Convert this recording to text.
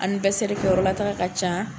kɛ yɔrɔ lataaga ka ca.